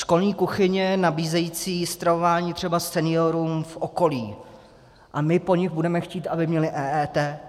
Školní kuchyně nabízející stravování třeba seniorům v okolí a my po nich budeme chtít, aby měli EET?